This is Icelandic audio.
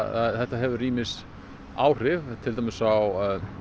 þetta hefur ýmis áhrif til dæmis á